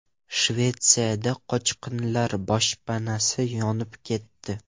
Shvetsiyada qochqinlar boshpanasi yonib ketdi.